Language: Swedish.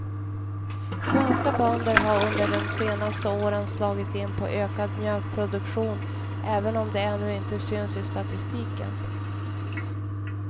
Svenska bönder har under de senaste åren slagit in på ökad mjölkproduktion, även om det ännu inte syns i statistiken.